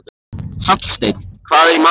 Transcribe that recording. Hallsteinn, hvað er í matinn?